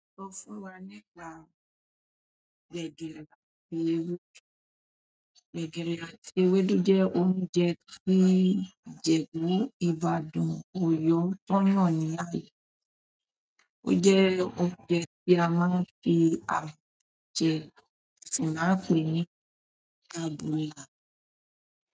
Sọ fún wa nípa gbegiri àti ewédú. Gbegiri àti ewédú jẹ oúnjẹ fún ìjèbú, Ibadan, Oyo. Ó jẹ́ oúnjẹ tí a máa fi àbọ jẹ ti a ń pè é ní àbùlà.